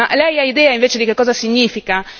Ma Lei ha idea invece di che cosa significa?